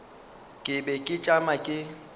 ke be ke tšama ke